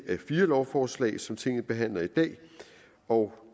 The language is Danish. fire lovforslag som tinget behandler i dag og